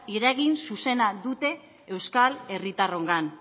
eragin zuzena dute euskal herritarrongan